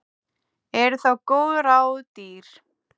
Eru þá góð ráð dýr.